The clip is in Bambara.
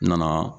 N nana